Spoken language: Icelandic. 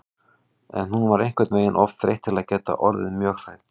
En hún var einhvern veginn of þreytt til að geta orðið mjög hrædd.